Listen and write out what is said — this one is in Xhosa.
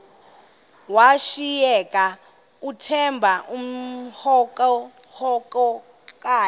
washiyeka uthemba emhokamhokana